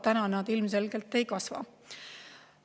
Täna ilmselgelt ei kasva.